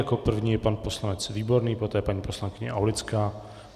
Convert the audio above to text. Jako první je pan poslanec Výborný, poté paní poslankyně Aulická.